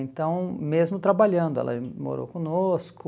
Então, mesmo trabalhando, ela morou conosco...